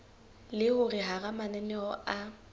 le hore hara mananeo a